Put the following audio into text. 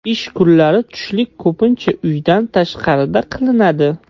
Ish kunlari tushlik ko‘pincha uydan tashqarida qilinadi.